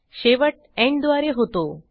शेवट एंड द्वारे होतो